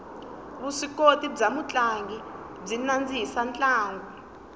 vuswikoti bya mutlangi byi nandzihisa ntlangu